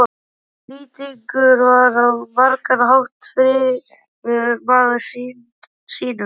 Lýtingur var á margan hátt fríður maður sýnum.